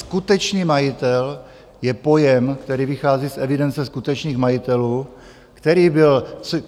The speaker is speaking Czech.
Skutečný majitel je pojem, který vychází z evidence skutečných majitelů, který byl...